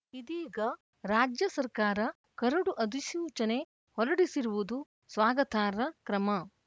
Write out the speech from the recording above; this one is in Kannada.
ಇದೀಗ ರಾಜ್ಯ ಸರ್ಕಾರ ಕರಡು ಅಧಿಸೂಚನೆ ಹೊರಡಿಸಿರುವುದು ಸ್ವಾಗತಾರ್ಹ ಕ್ರಮ